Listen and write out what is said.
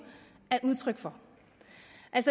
er udtryk for